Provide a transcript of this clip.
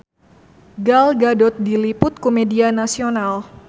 Gal Gadot diliput ku media nasional